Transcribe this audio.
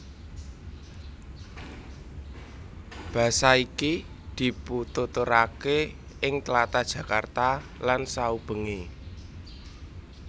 Basa iki dipituturaké ing tlatah Jakarta lan saubengé